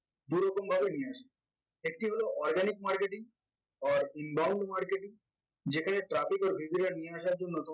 দু’রকম ভাবে নিয়ে আসা যায় একটি হল organic marketing or involved marketing যেখানে traffic or visitor নিয়ে আসার জন্য